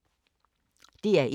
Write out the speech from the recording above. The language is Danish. DR1